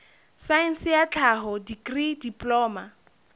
saense ya tlhaho dikri diploma